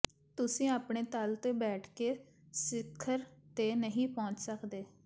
ਤੁਸੀਂ ਆਪਣੇ ਤਲ ਤੇ ਬੈਠ ਕੇ ਸਿਖਰ ਤੇ ਨਹੀਂ ਪਹੁੰਚ ਸਕਦੇ